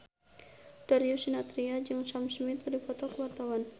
Darius Sinathrya jeung Sam Smith keur dipoto ku wartawan